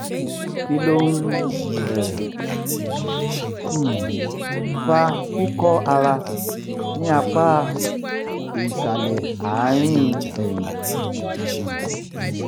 kí ló ń um um fa kíkọ́ ara ní apá ìsàlẹ̀ àárín ẹ̀yìn? um